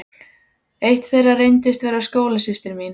Eitt þeirra reyndist vera skólasystir mín.